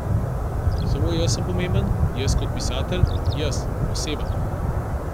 Samo jaz sem pomemben, jaz kot pisatelj, jaz, oseba!